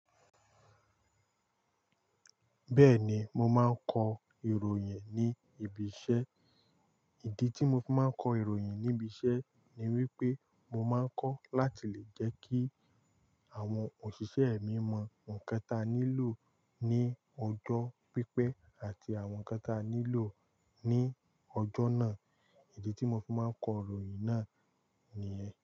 Bẹ́ẹ̀ni, mo máa ń kọ ìròyìn ní ibi iṣẹ́. Ìdí tí mo fi máa ń kọ ìròyìn ní ibi iṣẹ́ ni wípé mo máa ń kọ láti lè jẹ́ kí àwọn òṣìṣẹ́ mi mọ ohun kẹta nílò ní ọjọ́ pípẹ́ àti àwọn kẹta nílò ní ọjọ́ náà. Ìdí tí mo fi máa ń kọ ìròyìn náà nìyẹn.